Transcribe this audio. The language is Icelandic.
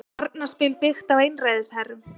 Barnaspil byggt á einræðisherrum